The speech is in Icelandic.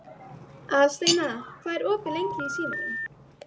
Aðalsteina, hvað er opið lengi í Símanum?